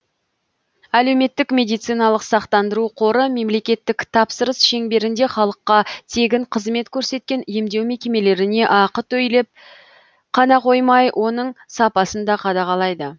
әлеуметтік медициналық сақтандыру қоры мемлекеттік тапсырыс шеңберінде халыққа тегін қызмет көрсеткен емдеу мекемелеріне ақы төлеп қана қоймай оның сапасын да қадағалайды